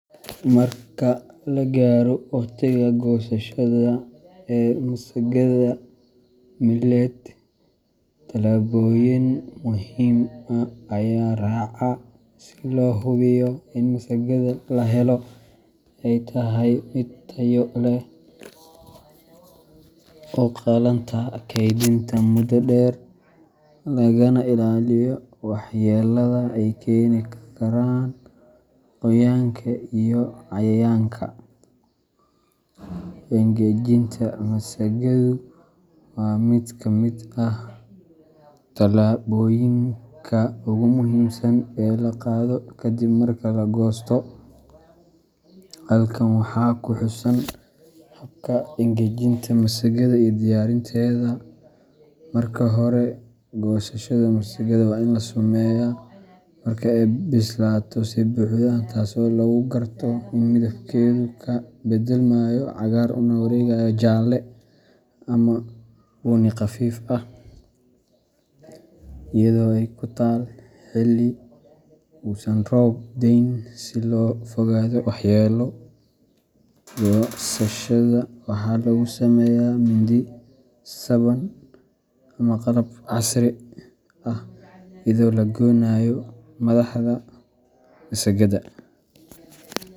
Marka la gaaro waqtiga goosashada ee masagada millet, talaabooyin muhiim ah ayaa la raacaa si loo hubiyo in masagada la helo ay tahay mid tayo leh, u qalanta kaydinta muddo dheer, lagana ilaaliyo waxyeellada ay keeni karaan qoyaanka iyo cayayaanka. Engejinta masagadu waa mid ka mid ah talaabooyinka ugu muhiimsan ee la qaado ka dib marka la goosto. Halkan waxaa ku xusan habka engejinta masagada iyo diyaarinteeda:Marka hore, goosashada masagada waa in la sameeyaa marka ay bislaatay si buuxda, taasoo lagu garto in midabkeedu uu ka beddelmayo cagaar una wareegayo jaalle ama bunni khafiif ah, iyadoo ay ku taal xilli uusan roob da’ayn si looga fogaado waxyeello. Goosashada waxa lagu sameeyaa mindi, saban ama qalab casri ah iyadoo la goynayo madaxda masagada.